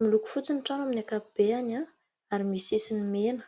miloko fotsyny trano amin'ny akapibe any ah ary misy sisyny mena